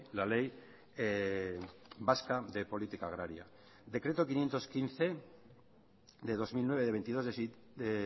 la ley vasca de política agraria decreto quinientos quince de dos mil nueve de veintidós de